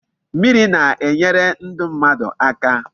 Mmiri na-enyere ndu mmadu aka